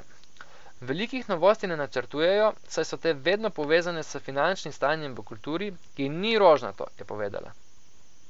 Velikih novosti ne načrtujejo, saj so te vedno povezane s finančnim stanjem v kulturi, ki ni rožnato, je povedala.